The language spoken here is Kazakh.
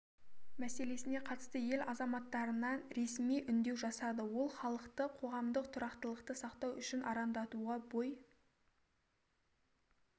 мәселесіне қатысты ел азаматтарына ресми үндеу жасады ол халықты қоғамдық тұрақтылықты сақтау үшін арандатуға бой